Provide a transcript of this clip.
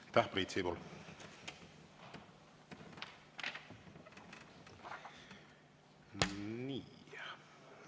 Aitäh, Priit Sibul!